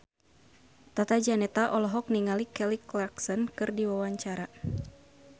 Tata Janeta olohok ningali Kelly Clarkson keur diwawancara